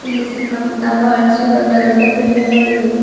ಇಲ್ಲಿ ಸುತ್ತಮುತ್ತ ಬಹಳಷ್ಟು ದೊಡ್ಡ ದೊಡ್ಡ ಬಿಲ್ಡಿಂಗ್ ಗಳಿವೆ.